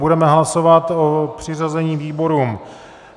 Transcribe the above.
Budeme hlasovat o přiřazení výborům.